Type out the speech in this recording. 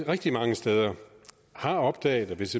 rigtig mange steder har opdaget at hvis